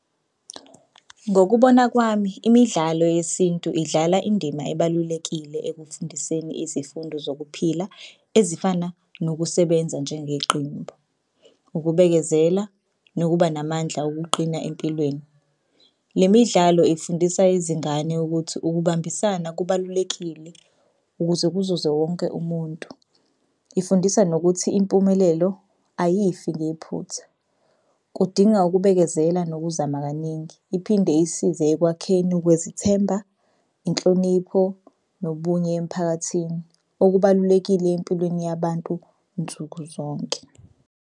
Ngokubona kwami imidlalo yesintu idlala indima ebalulekile ekufundiseni izifundo zokuphila ezifana nokusebenza njengeqembu, ukubekezela, nokuba namandla okuqina empilweni. Le midlalo ifundisa izingane ukuthi ukubambisana kubalulekile ukuze kuzuze wonke umuntu. Ifundisa nokuthi impumelelo ayifi ngephutha kudinga ukubekezela nokuzama kaningi. Iphinde isize ekwakheni ukwezithemba, inhlonipho nobunye emphakathini. Okubalulekile empilweni yabantu nsukuzonke.